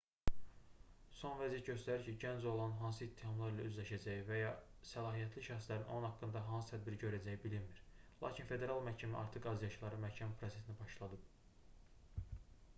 son vəziyyət göstərir ki gənc oğlanın hansı ittihamlar ilə üzləşəcəyi və ya səlahiyyətli şəxslərin onun haqqında hansı tədbiri görəcəyi bilinmir lakin federal məhkəmə artıq azyaşlıların məhkəmə prosesini başladıb